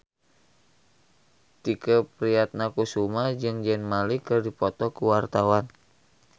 Tike Priatnakusuma jeung Zayn Malik keur dipoto ku wartawan